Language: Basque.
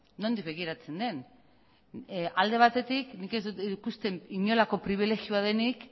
nondik begiratzen den alde batetik nik ez dut ikusten inolako pribilegioa denik